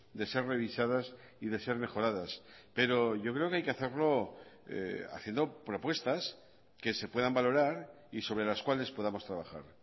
de ser revisadas y de ser mejoradas pero yo creo que hay que hacerlo haciendo propuestas que se puedan valorar y sobre las cuales podamos trabajar